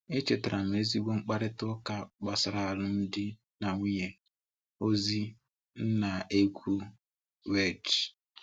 Echetara m ezigbo mkparịta ụka gbasara alụmdi na nwunye, ozi, nna, egwu, wdg.